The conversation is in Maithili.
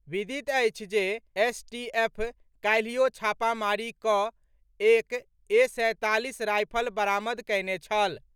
विदित अछि जे एसटीएफ काल्हियो छापामारी कऽ एक ए. सैंतालीस रायफल बरामद कयने छल।